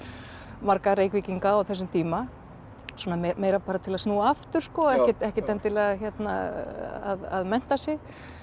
marga Reykvíkinga á þessum tíma svona meira bara til að snúa aftur ekkert endilega að mennta sig